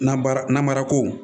Nabaara namara ko